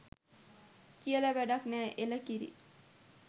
කියල වැඩක් නෑ.එළ කිරි